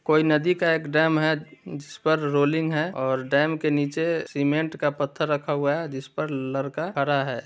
कोई नदी का एक डैम है। जिस पर रोलिंग है और डैम के नीचे सीमेंट का एक पत्थर रखा हुआ है। जिस पर लरका खड़ा है ।